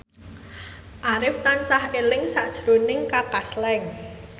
Arif tansah eling sakjroning Kaka Slank